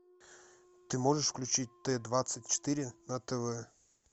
ты можешь включить т двадцать четыре на тв